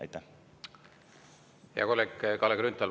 Hea kolleeg Kalle Grünthal!